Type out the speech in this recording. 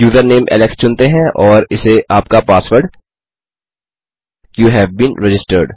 username Alex चुनते हैं और इसे आपका password you have been registered